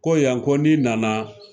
Ko yan ko ni nana